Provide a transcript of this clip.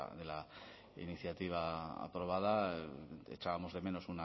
de la iniciativa aprobada echábamos de menos